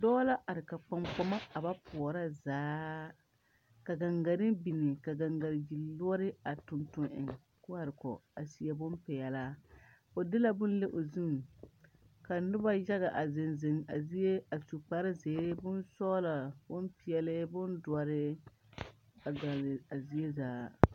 Dɔɔ la are ka kpaŋkpama a ba pɔɔrɔ zaa ka gaŋgarre biŋ ka gaŋgabiyuore a tuŋ tuŋ eŋ ko are kɔge a seɛ bonpeɛlaa o de la bon le o zu ka nobɔ yaga a zeŋ zeŋ a zie a su kparezeere bonsɔglɔ bonpeɛle bondoɔre a gɔlle a zie zaa.